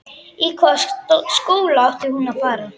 Í hvaða skóla átti hún að fara?